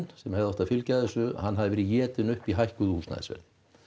sem hefði átt að fylgja þessu hann hafi verið étinn upp í hækkuðu húsnæðisverði